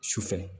Su fɛ